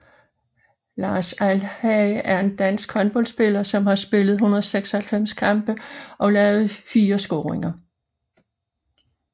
Lars Alhage er en dansk håndboldspiller som har spillet 196 kampe og lavet 4 scoringer